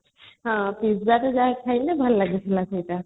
ହଁ pizza ଟା ଯାହା କହିଲେ ଭଲ ଲାଗୁଥିଲା